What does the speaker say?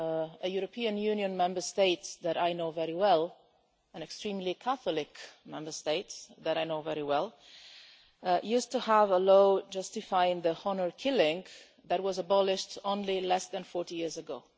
A European Union Member State that I know very well, an extremely Catholic Member State that I know very well used to have a law justifying honour killing that was abolished only less than 40 years ago.